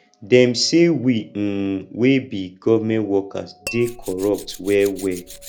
dem sey we um wey be government workers dey corrupt wellwell